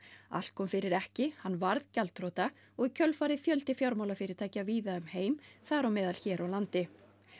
allt kom fyrir ekki hann varð gjaldþrota og í kjölfarið fjöldi fjármálafyrirtækja víða um heim þar á meðal hér á landi